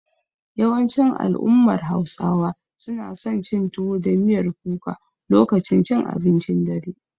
Yawancin al'ummar Hausawa suna son cin tuwo da miyar kuka lokacin cin abincin dare.